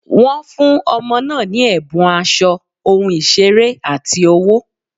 Wọ́n fún ọmọ náà ní ẹ̀bùn aṣọ, ohun ìṣeré, àti owó.